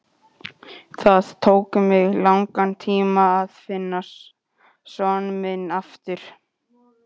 Það tók mig langan tíma að vinna son minn aftur.